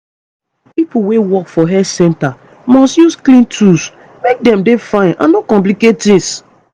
pipo wey work for health centers must use clean tools make dem dey fine and no complicate tings